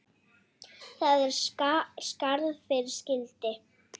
Það er skarð fyrir skildi.